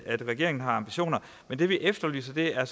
regeringen har ambitioner men det vi efterlyser er